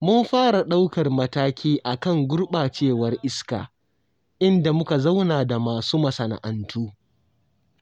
Mun fara ɗaukar matakai a kan gurɓacewar iska, inda muka zauna da masu masana'antu.